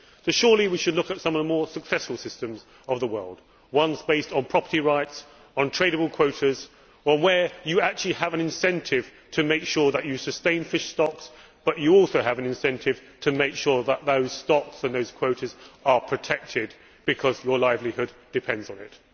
Surely we should look at some of the more successful systems of the world, ones based on property rights, on tradable quotas, where you actually have an incentive to make sure that you sustain fish stocks but you also have an incentive to make sure that those stocks and those quotas are protected because your livelihood depends on it.